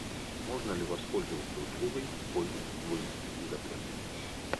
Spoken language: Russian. можно ли воспользоваться услугой поздний выезд из отеля